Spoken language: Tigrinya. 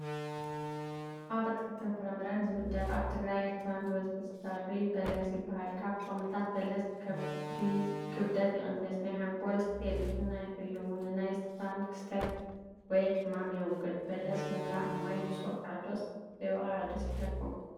ኣብ ኣትክልትን ፍረምረታትን ዝምደብ ኣብ ትግራይን ኤሪትራን ብበዝሒ ዝፈርይ በለስ ይባሃል፡፡ ካብ ጥቕምታት በለስ ክብደትይቕንስ፣ ናይ ሓንጎል ሴል ጥዕና ይሕልው፣ ንናይ ስኽራን ክስተት ወይ ሕማም የውግድን፡፡ በለስ ምብላዕ ማይ ምስወቐዐ ዶስ ዘይወቐዐ ደስ ይብለኩም?